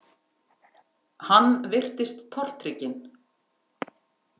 Hann virtist tortrygginn.